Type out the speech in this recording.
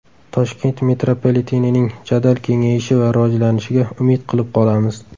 Toshkent metropolitenining jadal kengayishi va rivojlanishiga umid qilib qolamiz.